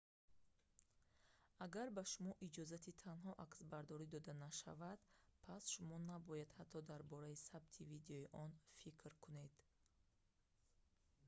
агар ба шумо иҷозати танҳо аксбардорӣ дода нашавад пас шумо набояд ҳатто дар бораи сабти видеои он фикр кунед